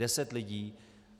Deset lidí.